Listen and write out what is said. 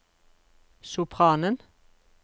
sopranen